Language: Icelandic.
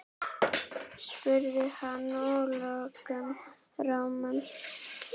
spurði hann að lokum rámur.